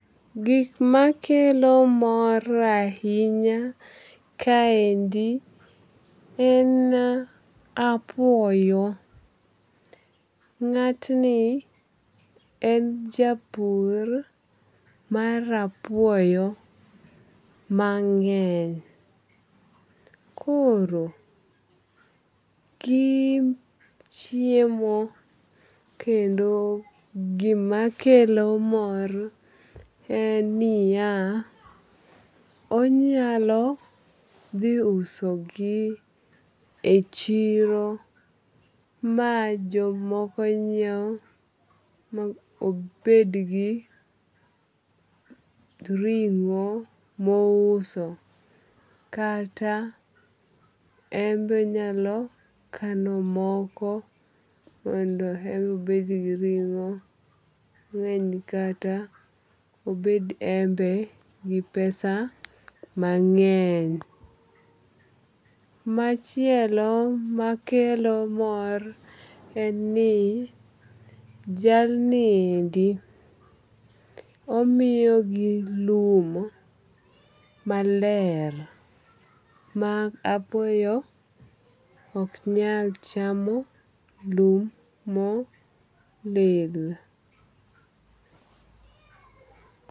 Gik makelo mor ahinya kaendi en apuoyo. Ng'at ni en japur mar apuoyo mang'eny. Koro, gi chiemo kendo kendo gima kelo mor en niya, onyalo dhi uso gi e chiro ma jomoko nyiew ma obed gi ring'o mouso kata en be onyalo kano moko mondo en be obed gi ring'o mang'eny kata obed en be gi pesa mang'eny. Machielo makelo mor en ni jalniendi omiyo gi lum maler ma apuoyo ok nyal chamo lum molil.